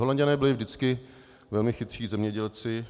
Holanďané byli vždycky velmi chytří zemědělci.